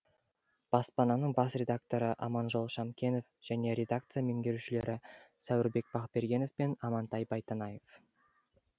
баспаның бас редакторы аманжол шамкенов және редакция меңгерушілері сәуірбек бақбергенов пен амантай байтанаев